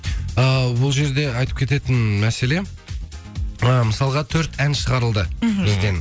э бұл жерде айтып кететін мәселе э мысалға төрт ән шығарылды бізден